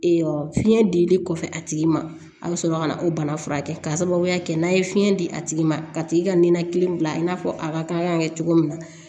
fiɲɛ dili kɔfɛ a tigi ma a bɛ sɔrɔ ka na o bana furakɛ k'a sababuya kɛ n'a ye fiɲɛ di a tigi ma ka tigi ka nin na kelen bila i n'a fɔ a ka kan ka kɛ cogo min na